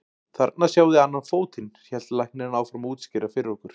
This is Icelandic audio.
Þarna sjáið þið annan fótinn, hélt læknirinn áfram að útskýra fyrir okkur.